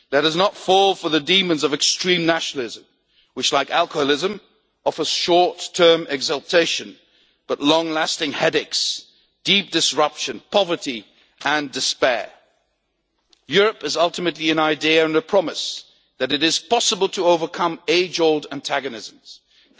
Let us not fall for the demons of extreme nationalism which, like alcoholism, offer short term exaltation, but long lasting headaches, deep disruption, poverty and despair. Europe is ultimately an idea and a promise that it is possible to overcome age old antagonisms